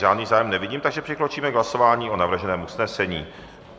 Žádný zájem nevidím, takže přikročíme k hlasování o navrženém usnesení.